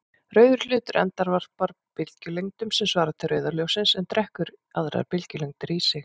Rauður hlutur endurvarpar bylgjulengdum sem svara til rauða ljóssins en drekkur aðrar bylgjulengdir í sig.